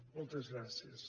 moltes gràcies